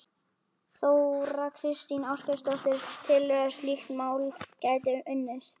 Þóra Kristín Ásgeirsdóttir: Telurðu að slíkt mál gæti unnist?